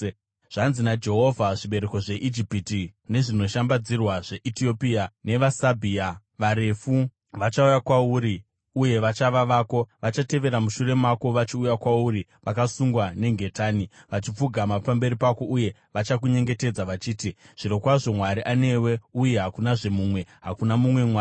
Zvanzi naJehovha: “Zvibereko zveIjipiti nezvinoshambadzirwa zveEtiopia, navaSabhea varefu, vachauya kwauri uye vachava vako; vachatevera mushure mako, vachiuya kwauri vakasungwa nengetani. Vachapfugama pamberi pako uye vachakunyengetedza, vachiti, ‘Zvirokwazvo Mwari anewe, uye hakunazve mumwe; hakuna mumwe mwari.’ ”